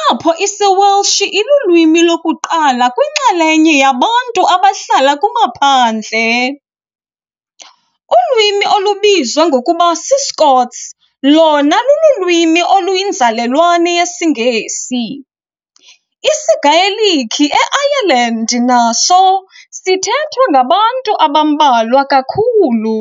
apho isiWelsh ilulwimi lokuqala kwinxalenye yabantu abahlala kumaphandle. Ulwimi olubizwa ngokuba s"iScots" lona lululwimi oluyinzalelwane yesiNgesi. isiGaelic eIreland naso sithethwa ngabantu abambalwa kakhulu.